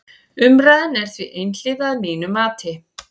Umræðan er því einhliða að mínu mati.